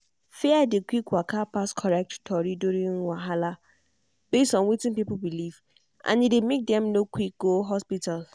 fear dey quick waka pass correct tori during health wahala based on wetin people believe and e dey make dem no quick go hospital.